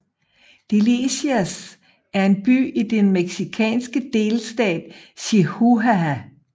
Delicias er en by i den mexikanske delstat Chihuahua